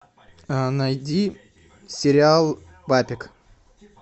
найди сериал папик